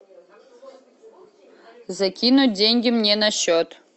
закинуть деньги мне на счет